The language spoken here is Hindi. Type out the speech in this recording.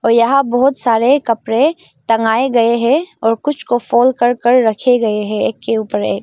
यहां बहुत सारे कपड़े टंगाये गए है और कुछ को फोल्ड कर कर रखे गए हैं। एक के ऊपर एक।